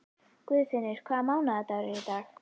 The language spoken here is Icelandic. Guðfinnur, hvaða mánaðardagur er í dag?